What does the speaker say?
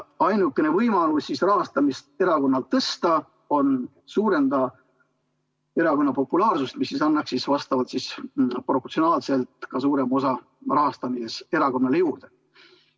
Ainukene võimalus erakonna rahastamist tõsta on suurendada erakonna populaarsust, mis annaks proportsionaalselt ka suurema osa rahastamises juurde.